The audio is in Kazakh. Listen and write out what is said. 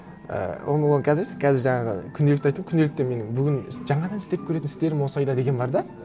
і оны оны қазір емес қазір жаңағы күнделікті айтамын күнделікте менің бүгін жаңадан істеп көретін істерім осы айда деген бар да